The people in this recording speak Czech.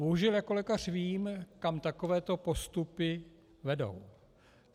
Bohužel jako lékař vím, kam takovéto postupy vedou.